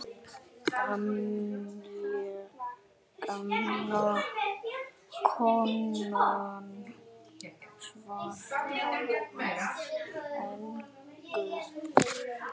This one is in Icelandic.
Gamla konan svarar engu.